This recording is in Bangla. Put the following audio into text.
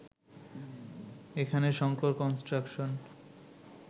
এখানে শঙ্কর কনস্ট্রাকশন